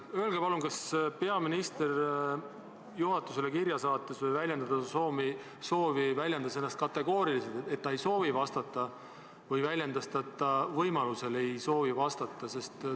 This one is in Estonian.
Öelge palun, kas peaminister juhatusele kirja saates või soovi avaldades väljendas ennast kategooriliselt, et ta ei soovi vastata, või väljendas ta, et ta võimaluse korral ei soovi vastata?